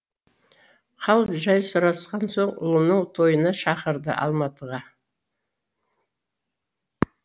хал жай сұрасқан соң ұлының тойына шақырды алматыға